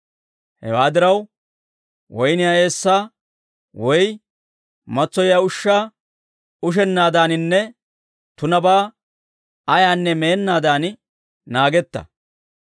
Hewaa diraw, woyniyaa eessaa woy matsoyiyaa ushshaa ushennaadaaninne tunabaa ayaanne meennaadan naagetta.